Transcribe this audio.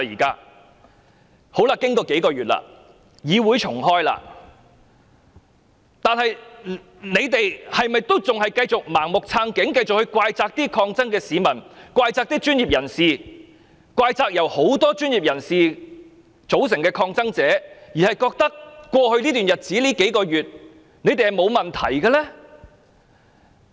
建制派議員是否仍然要繼續盲目撐警、怪責抗爭的市民、怪責專業人士、怪責一眾由專業人士組成的抗爭者，認為在過去這數個月來自己是完全沒有問題的呢？